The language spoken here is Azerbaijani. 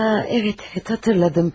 A, evət, evət, xatırladım.